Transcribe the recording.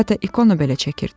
Hətta ikona belə çəkirdi.